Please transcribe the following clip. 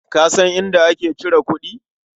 Ka san inda ake cire kuɗi?